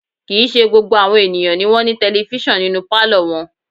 Kì í ṣe gbogbo àwọn ènìyàn ni wọ́n ní tẹlifísàn nínú pálọ̀ wọn